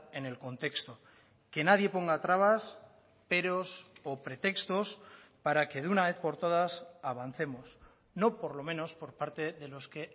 en el contexto que nadie ponga trabas peros o pretextos para que de una vez por todas avancemos no por lo menos por parte de los que